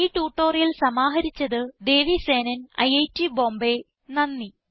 ഈ ട്യൂട്ടോറിയൽ സമാഹരിച്ചത് ദേവി സേനൻ ഐറ്റ് ബോംബേ നന്ദി